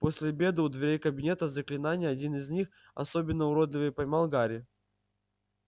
после обеда у дверей кабинета заклинаний один из них особенно уродливый поймал гарри